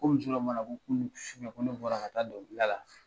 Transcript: Ko muso dɔ b'a la ko kunnu sufɛ, ko ne bɔra ka taa dɔnkilida la